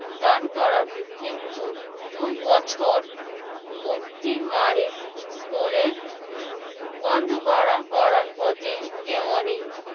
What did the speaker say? দান করেন কিন্তু দুই বছর অতি মারের স্কুলের বন্ধ করা~ করার প্রতি এমনই